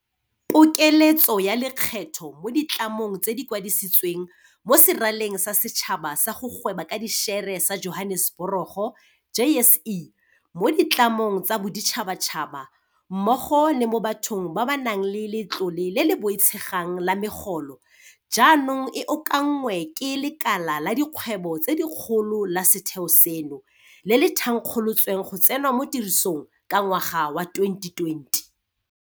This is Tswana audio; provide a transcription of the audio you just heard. Pokeletso ya lekgetho mo ditlamong tse di kwadisitsweng mo Seraleng sa Setšhaba sa go Gweba ka Dišere sa Johaneseborogo, JSE, mo ditlamong tsa boditšhabatšhaba mmogo le mo bathong ba ba nang le letlole le le boitshegang la megolo jaanong e okanngwe ke Lekala la Dikgwebo tse Dikgolo la setheo seno, le le thankgolotsweng go tsena mo tirisong ka ngwaga wa 2020.